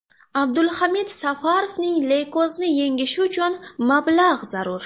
Abduhamid Safarovning leykozni yengishi uchun mablag‘ zarur.